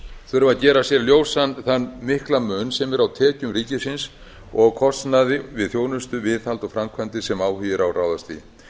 þurfa að gera sér ljósan þann mikla mun sem er á tekjum ríkisins og kostnaði við þjónustu viðhald og framkvæmdir sem áhugi er á að ráðast í